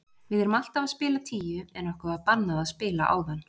Við erum alltaf að spila tíu en okkur var bannað að spila áðan.